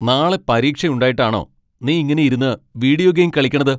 നാളെ പരീക്ഷയുണ്ടായിട്ടാണോ നീ ഇങ്ങനെ ഇരുന്ന് വീഡിയോ ഗെയിം കളിക്കണത്?